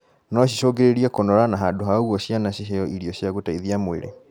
No cicũngĩrĩrie kũnora na handũ ha ũguo ciana ciheo irio cia gũteithia mwĩrĩ